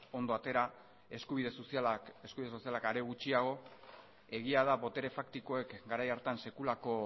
ondo atera eskubide sozialak are gutxiago egia da botere faktikoek garai hartan